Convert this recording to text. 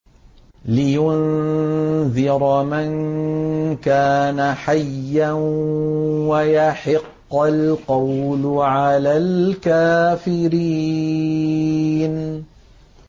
لِّيُنذِرَ مَن كَانَ حَيًّا وَيَحِقَّ الْقَوْلُ عَلَى الْكَافِرِينَ